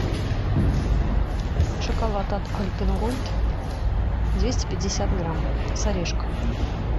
шоколад от альпен гольд двести пятьдесят грамм с орешками